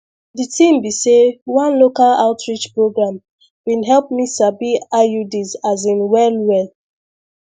the thing be say one local outreach program been help me sabi iuds asin well well